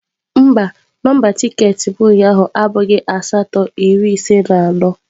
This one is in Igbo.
Mba, nọmba tiketi m ụnyaahụ abụghị asatọ iri ise na anọ.